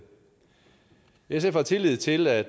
sf har tillid til at